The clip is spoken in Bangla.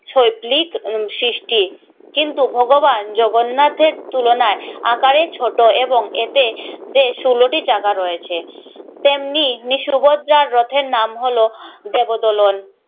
সৈল্পিক সৃষ্টি কিন্তু ভগবান জগন্নাথের তুলনায় আকারে ছোট এবং এতে যে ষোলোটি চাকা রয়েছে তেমনি নি সুভদ্রার রথের নাম হলো জগদলন